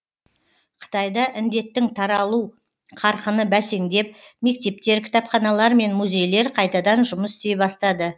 қытайда індеттің таралу қарқыны бәсеңдеп мектептер кітапханалар мен музейлер қайтадан жұмыс істей бастады